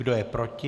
Kdo je proti?